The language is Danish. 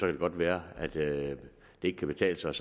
det godt være at det ikke kan betale sig